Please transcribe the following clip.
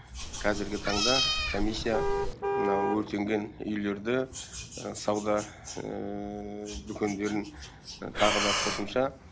қазіргі таңда комиссия мына өртенген үйлерді сауда дүкендерін тағы да қосымша